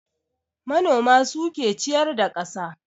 Manoma suke ciyar da kasa